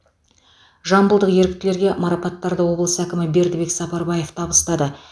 жамбылдық еріктілерге марапаттарды облыс әкімі бердібек сапарбаев табыстады